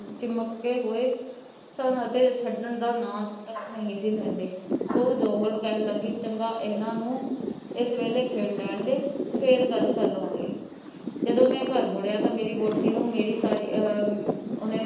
ਚਮਕਦੇ ਹੋਏ . ਛੱਡਣ ਦਾ ਨਾਂ ਤਕ ਨਹੀਂ ਸੀ ਲੈਂਦੇ, ਉਹ ਜੌਹਰਨ ਕਹਿਣ ਲੱਗੀ ਚੰਗਾ ਇੰਨਾ ਨੂੰ ਇਸ ਵੇਲੇ ਖੇਡ ਲੈਣ ਦੇ. ਫੇਰ ਗੱਲ ਕਰ ਲਾਵਾਂਗੇ। ਜਦੋ ਮੈਂ ਘਰ ਵੜਿਆ ਤਾਂ ਮੇਰੀ ਵਹੁਟੀ ਨੂੰ ਮੇਰੀ ਸਾਰੀ ਆਹ ਉਹਨੇ ਮੈਨੂੰ,